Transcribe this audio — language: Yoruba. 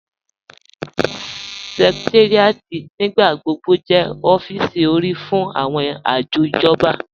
Sẹ̀kẹ̀táríàtì nígbàgbọ̀gbọ̀ jẹ́ ọ̀fíìsì orí fún awọn ajọ̀ ijọ̀ba.